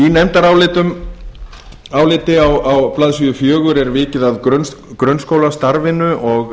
við þessi menntamál í nefndaráliti á blaðsíðu fjögur er vikið að grunnskólastarfinu og